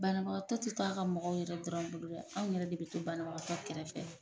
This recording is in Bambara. Banabagatɔ tɛ to a ka mɔgɔw yɛrɛ dɔrɔn dɛ, anw bolo dɛ anw yɛrɛ de be to banabagatɔ kɛrɛfɛ.